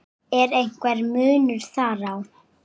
Er einhver munur þar á?